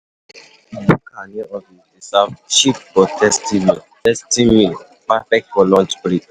Bukka near office dey serve cheap but tasty meal, perfect for lunch break.